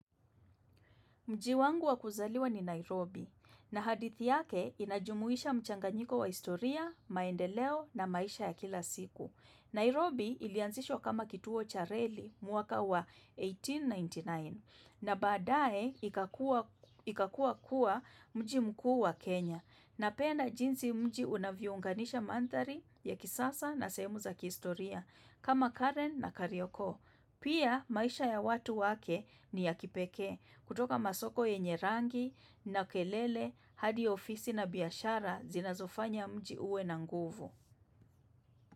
Mji wangu wa kuzaliwa ni Nairobi, na hadithi yake inajumuisha mchanganyiko wa historia, maendeleo na maisha ya kila siku. Nairobi ilianzishwa kama kituo cha Reli mwaka wa 1899, na baadae ikakua kuwa mji mkuu wa Kenya. Napenda jinsi mji unavyounganisha manthari ya kisasa na sehemu za kihistoria, kama Karen na Kariokoo. Pia maisha ya watu wake ni ya kipekee kutoka masoko yenye rangi na kelele hadi ofisi na biashara zinazofanya mji uwe na nguvu.